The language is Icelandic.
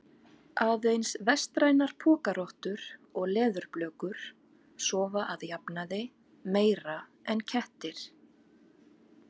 Aðeins vestrænar pokarottur og leðurblökur sofa að jafnaði meira en kettir.